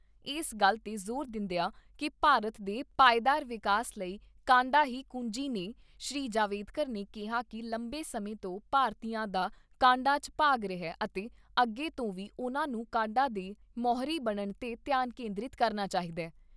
ਇਸ ਗੱਲ ਤੇ ਜ਼ੋਰ ਦਿੰਦਿਆਂ ਕਿ ਭਾਰਤ ਦੇ ਪਾਏਦਾਰ ਵਿਕਾਸ ਲਈ ਕਾਢਾਂ ਹੀ ਕੁੰਜੀ ਨੇ, ਸ੍ਰੀ ਜਾਵੜੇਕਰ ਨੇ ਕਿਹਾ ਕਿ ਲੰਬੇ ਸਮੇਂ ਤੋਂ ਭਾਰਤੀਆਂ ਦਾ ਕਾਢਾਂ 'ਚ ਭਾਗ ਰਿਹਾ ਅਤੇ ਅੱਗੇ ਤੋਂ ਵੀ ਉਨ੍ਹਾਂ ਨੂੰ ਕਾਢਾ ਦੇ ਮੋਹਰੀ ਬਣਨ ਤੇ ਧਿਆਨ ਕੇਂਦਰਿਤ ਕਰਨਾ ਚਾਹੀਦੈ।